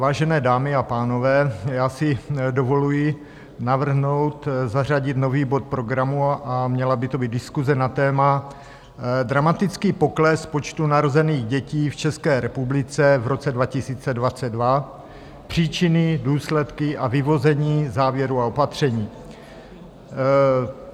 Vážené dámy a pánové, já si dovoluji navrhnout zařadit nový bod programu a měla by to být diskuse na téma Dramatický pokles počtu narozených dětí v České republice v roce 2022, příčiny, důsledky a vyvození závěru a opatření.